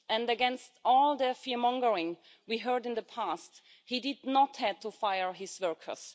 Against all the fearmongering we heard in the past, he did not have to fire his workers.